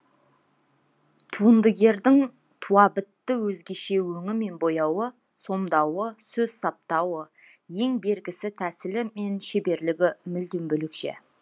туындыгердің туабітті өзгеше өңі мен бояуы сомдауы сөз саптауы ең бергісі тәсілі мен шеберлігі мүлдем бөлекше